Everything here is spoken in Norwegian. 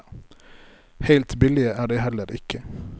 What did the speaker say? Helt billige er de heller ikke.